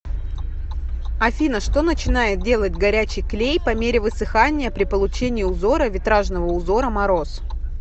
афина что начинает делать горячий клей по мере высыхания при получении узора витражного узора мороз